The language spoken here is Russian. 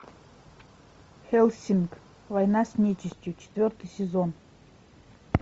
хеллсинг война с нечистью четвертый сезон